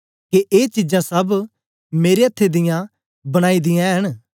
के ए चीजां सब मेरे अथ्थें दियां बनाई दियां ऐंन